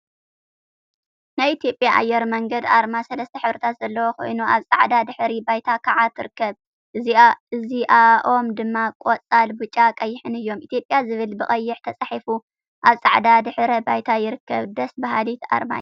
ናይ ኢትዮጵያ ኣየር መንገድ ኣርማ ሰለስተ ሕብሪታት ዘለዋ ኮይና ኣብ ጻዕዳ ድሕረ ባይታ ከዓ ትርከብ። እዚኣኦም ድማ ቆጻል፣ ብጫን ቀይሕን እዮም። ኢትዮጵያ ዝብል ብቀይሕ ተጻሒፉ ኣብ ጻዕዳ ድሕረ ባይታ ይርከብ። ደስ በሃሊት ኣርማ እያ።